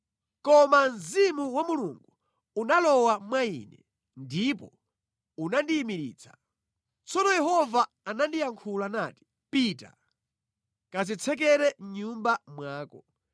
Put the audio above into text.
Koma Mzimu wa Mulungu unalowa mwa ine ndipo unandiyimiritsa. Tsono Yehova anandiyankhula nati: “Pita, kadzitsekere mʼnyumba mwako.